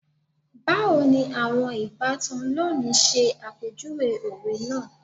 Bawo ni awọn ibatan loni ṣe apejuwe owe naa